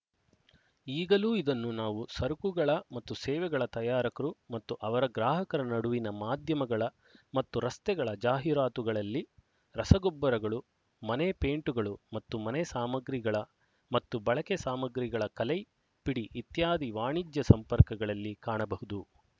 ಈಗಲೂ ಇದನ್ನು ನಾವು ಸರಕುಗಳ ಮತ್ತು ಸೇವೆಗಳ ತಯಾರಕರು ಮತ್ತು ಅವರ ಗ್ರಾಹಕರ ನಡುವಿನ ಮಾಧ್ಯಮಗಳ ಮತ್ತು ರಸ್ತೆಗಳ ಜಾಹಿರಾತುಗಳಲ್ಲಿ ರಸಗೊಬ್ಬರಗಳು ಮನೆ ಪೇಂಟುಗಳು ಮತ್ತು ಮನೆ ಸಾಮಗ್ರಿಗಳ ಮತ್ತು ಬಳಕೆ ಸಾಮಗ್ರಿಗಳ ಕಲೈ ಪಿಡಿ ಇತ್ಯಾದಿ ವಾಣಿಜ್ಯ ಸಂಪರ್ಕಗಳಲ್ಲಿ ಕಾಣಬಹುದು